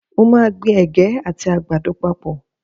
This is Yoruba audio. Mo máa gbin Ẹ̀gẹ́ àti àgbàdo papọ̀.